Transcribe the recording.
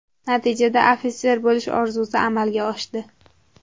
Natijada, ofitser bo‘lish orzusi amalga oshdi”.